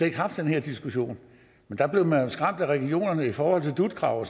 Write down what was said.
ikke haft den her diskussion men der blev man jo skræmt af regionerne i forhold til dut krav og